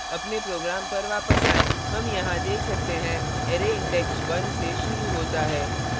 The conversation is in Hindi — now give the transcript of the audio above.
अपने program पर वापस आएँ come यहाँ देख सकते हैं array index 1 से शुरू होता है